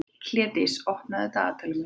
Hlédís, opnaðu dagatalið mitt.